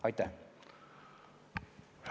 Aitäh!